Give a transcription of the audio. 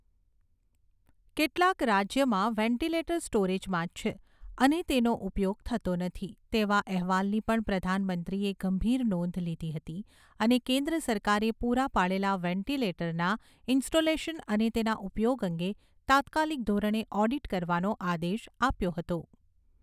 કેટલાક રાજ્યમાં વેન્ટિલેટર સ્ટોરેજમાં જ છે અને તેનો ઉપયોગ થતો નથી તેવા અહેવાલની પણ પ્રધાનમંત્રીએ ગંભીર નોંધ લીધી હતી અને કેન્દ્ર સરકારે પૂરા પાડેલા વેન્ટિલેટરના ઇન્સ્ટોલેશન અને તેના ઉપયોગ અંગે તાત્કાલિક ધોરણે ઓડીટ કરવાનો આદેશ આપ્યો હતો.